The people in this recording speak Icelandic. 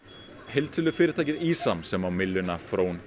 heildsölufyrirtækið ÍSAM sem á mylluna frón